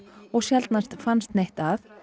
og sjaldnast fannst neitt að